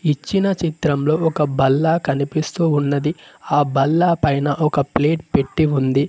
ఇచ్చిన చిత్రంలో ఒక బల్లా కనిపిస్తూ ఉన్నది ఆ బల్లా పైన ఒక ప్లేట్ పెట్టి ఉంది.